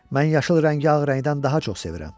Mən yaşıl rəngi ağ rəngdən daha çox sevirəm.